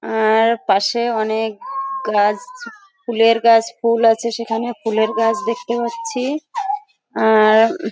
আ-আ-র পাশে অনেক গাছ ফুলের গাছ ফুল আছে সেখানে ফুলের গাছ দেখতে পাচ্ছি। আ-আ-র উ--